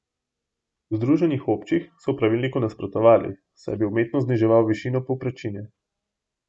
V združenjih občin so pravilniku nasprotovali, saj naj bi umetno zniževal višino povprečnine.